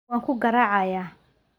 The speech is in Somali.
waan ku garaacayaa!